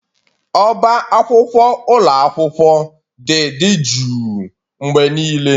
Ọbá akwụkwọ ụlọ akwụkwọ dị dị juu mgbe niile